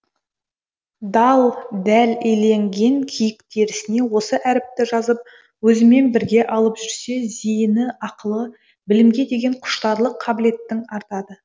дал дәл иленген киік терісіне осы әріпті жазып өзімен бірге алып жүрсе зейіні ақылы білімге деген құштарлық қабілеттің артады